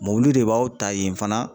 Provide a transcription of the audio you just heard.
Mɔbili de b'aw ta yen fana